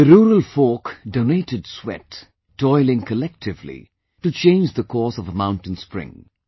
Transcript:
The rural folk donated sweat, toiling collectively, to change the course of a mountain spring